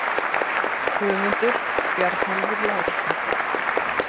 Höfundur: Bjarnólfur Lárusson